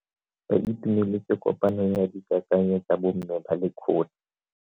Ba itumeletse kopanyo ya dikakanyo tsa bo mme ba lekgotla.